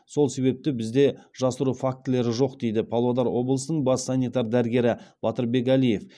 сол себепті бізде жасыру фактілері жоқ дейді павлодар облысының бас санитар дәрігері батырбек әлиев